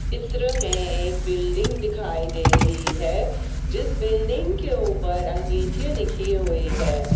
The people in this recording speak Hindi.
चित्र मे एक बिल्डिंग दिखाई दे रही है जिस बिल्डिंग के ऊपर अंगेठे लिखे हुए हैं।